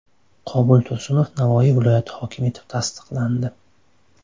Qobul Tursunov Navoiy viloyati hokimi etib tasdiqlandi.